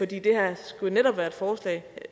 det her skulle jo netop være et forslag en